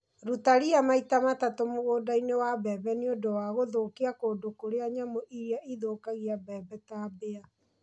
Ruta ria maita matatũ mũgũnda-inĩ wa mbembe nĩ ũndũ wa gũthũkia kũndũ kũrĩa nyamũ irĩa ithũkagia mbembe ta mbĩya.